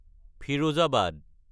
Firozabad